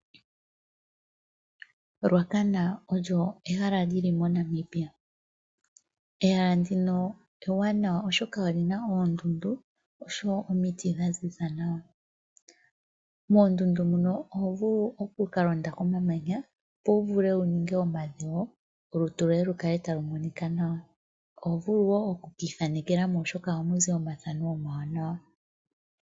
Ruacana olyo ehala li li moNamibia. Ehala ndino ewanawa, oshoka oli na oondundu nosho wo omiti dha ziza nawa. Moondundu muno oho vulu oku ka londa komamanya, opo wu vule wu ninga omadhewo olutu lwoye lu kale talu monika nawa. Oho vulu wo oku ka ithanekela mo, oshoka ohamu zi omathano omawanawa.